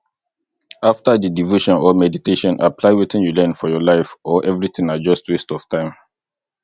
after di devotion or meditation apply wetin you learn for your life or everything na just waste of time